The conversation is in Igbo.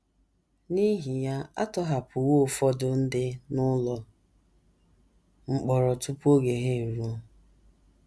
N’ihi ya, a tọhapụwo ụfọdụ ndị n’ụlọ mkpọrọ tupu oge ha eruo.